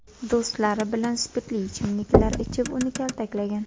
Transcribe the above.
do‘stlari bilan spirtli ichimliklar ichib uni kaltaklagan.